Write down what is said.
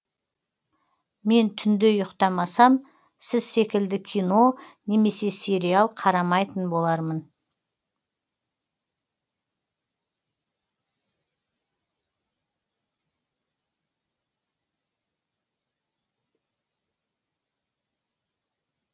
мен түнде ұйықтамасам сіз секілді кино немесе сериал қарамайтын болармын